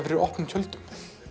fyrir opnum tjöldum